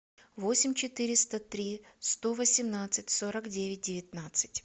восемь четыреста три сто восемнадцать сорок девять девятнадцать